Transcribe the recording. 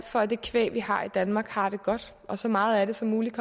for at det kvæg vi har i danmark har det godt og så meget som muligt